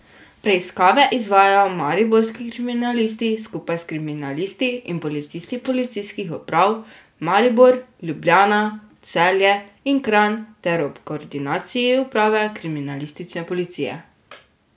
Preiskave izvajajo mariborski kriminalisti, skupaj s kriminalisti in policisti policijskih uprav Maribor, Ljubljana, Celje in Kranj ter ob koordinaciji uprave kriminalistične policije.